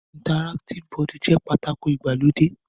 Interractive board jẹ́ pátákó ìgbàlódé.